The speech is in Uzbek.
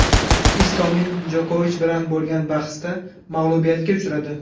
Istomin Jokovich bilan bo‘lgan bahsda mag‘lubiyatga uchradi.